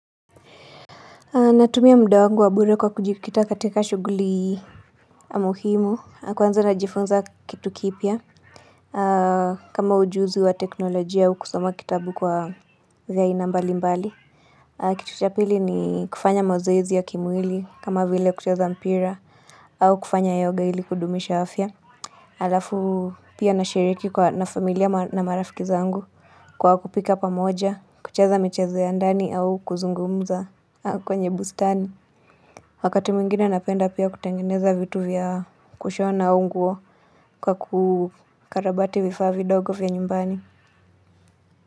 Natumia muda wangu wa bure kwa kujikita katika shughuli muhimu, kwanza najifunza kitu kipya, kama ujuzi wa teknolojia au kusoma kitabu kwa vya aina mbali mbali. Kitu cha pili ni kufanya mazoezi ya kimwili, kama vile kucheza mpira, au kufanya yoga ili kudumisha afya. Alafu pia nashiriki kwa na familia na marafiki zangu kwa kupika pamoja, kucheza michezo ya ndani au kuzungumza kwenye bustani. Wakati mwingine napenda pia kutengeneza vitu vya kushona nguo kwa kukarabati vifaa vidogo vya nyumbani.